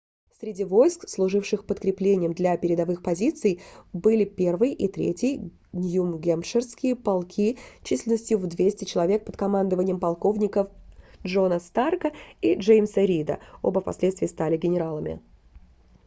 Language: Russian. среди войск служивших подкреплением для передовых позиций были 1-й и 3-й нью-гэмпширские полки численностью в 200 человек под командованием полковников джона старка и джеймса рида оба впоследствии стали генералами